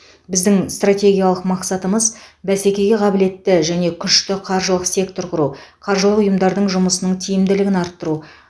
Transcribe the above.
біздің стратегиялық мақсатымыз бәсекеге қабілетті және күшті қаржылық сектор құру қаржылық ұйымдардың жұмысының тиімділігін арттыру